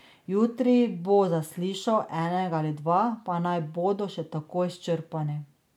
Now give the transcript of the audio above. Jutri bo zaslišal enega ali dva, pa naj bodo še tako izčrpani.